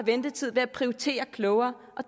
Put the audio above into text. ventetid med at prioritere klogere